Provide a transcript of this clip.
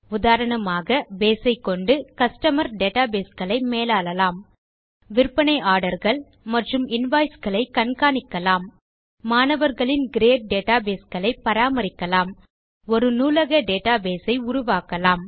உதாரணமாக பேஸ் ஐக்கொண்டு customer database களை மேலாளலாம் விற்பனை orderகள் மற்றும் invoiceகளை கண்காணிக்கலாம் மாணவர்களின் கிரேட் டேட்டாபேஸ் களை பராமரிக்கலாம் ஒரு நூலக டேட்டாபேஸ் ஐ உருவாக்கலாம்